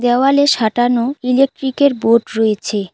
দেয়ালে সাঁটানো ইলেকট্রিকের বোর্ড রয়েছে।